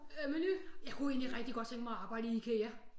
Øh Meny jeg kunne egentlig rigtig godt tænke mig at arbejde i Ikea